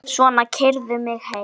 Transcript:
Svona, keyrðu mig heim.